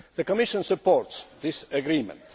The Commission supports this agreement.